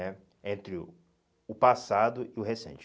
né Entre o o passado e o recente.